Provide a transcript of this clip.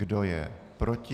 Kdo je proti?